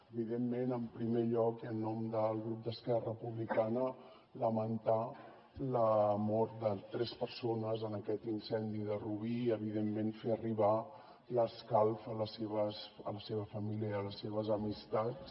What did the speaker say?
evidentment en primer lloc i en nom del grup d’esquerra republicana lamentar la mort de tres persones en aquest incendi de rubí i evidentment fer arribar l’escalf a la seva família i a les seves amistats